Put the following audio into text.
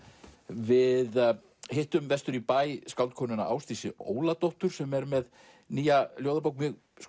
við hittum vestur í bæ skáldkonuna Ásdísi Óladóttur sem er með nýja ljóðabók